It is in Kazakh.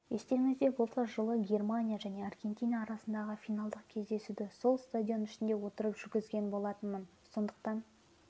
естеріңізде болса жылы германия және аргентина арасындағы финалдық кездесуді сол стадион ішінде отырып жүргізген болатынмын сондықтан